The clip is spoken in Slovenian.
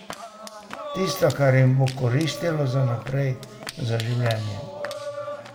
Tisto, kar jim bo koristilo za naprej, za življenje.